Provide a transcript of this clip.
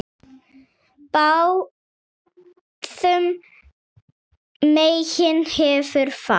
Báðum megin hefur fat.